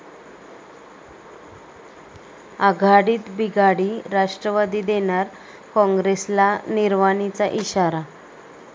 आघाडीत बिघाडी, राष्ट्रवादी देणार काँग्रेसला निर्वाणीचा इशारा